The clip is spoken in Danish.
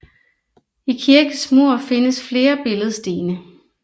I kirkens mur findes flere billedstene